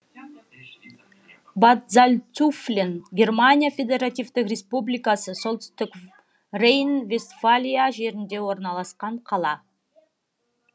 бад зальцуфлен германия федеративтік республикасы солтүстік рейн вестфалия жерінде орналасқан қала